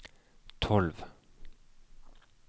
tolv